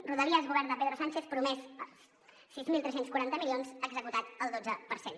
rodalies govern de pedro sánchez promès sis mil tres cents i quaranta milions executat el dotze per cent